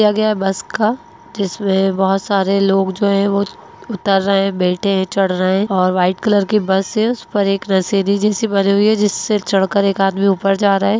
बस का जिसमे बहुत सारे लोग जो हैं उतर रहे हैं बैठे हैं चढ़ रहे हैं और वाईट कलर की बस है उस पर एक सी बनी हुई है जिससे चढ़ कर एक आदमी ऊपर जा रहा है।